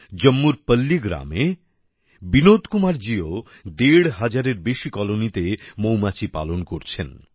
জম্মুর পল্লি গ্রামে বিনোদ কুমারজীও দেড় হাজারের বেশী কলোনিতে মৌমাছি পালন করছেন